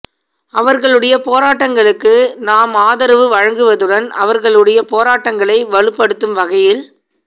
அவர்களுடைய போராட்டங்களுக்கு நாம் ஆதரவு வழங்குவதுடன் அவர்களுடைய போராட்டங்களை வலுப்படுத்தும் வகையில்